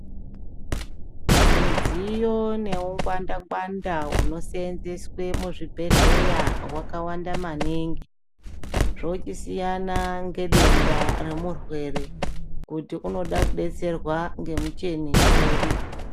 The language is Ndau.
Midziyo neungwanda-ngwanda hunoseenzeswe muzvibhedhleya, hwakawanda maningi, zvochisiyana ngedenda romurwere, kuti unoda kudetserwa ngemucheni uri.